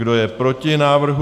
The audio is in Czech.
Kdo je proti návrhu?